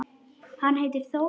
Hann heitir Þór.